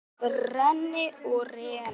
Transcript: Renni og renni.